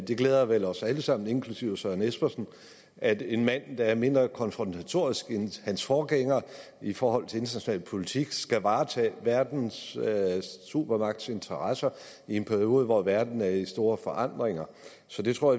det glæder vel os alle sammen inklusive herre søren espersen at en mand der er mindre konfrontatorisk end hans forgænger i forhold til international politik skal varetage verdens supermagts interesser i en periode hvor verden er i store forandringer så det tror